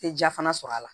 Tɛ ja fana sɔrɔ a la